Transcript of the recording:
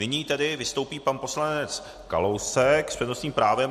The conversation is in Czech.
Nyní tedy vystoupí pan poslanec Kalousek s přednostním právem.